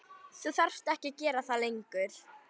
Þú þarft ekki að gera það lengur.